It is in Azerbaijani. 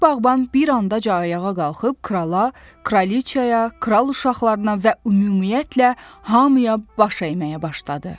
Üç bağban bir anda ayağa qalxıb krala, kraliçaya, kral uşaqlarına və ümumiyyətlə hamıya baş əyməyə başladı.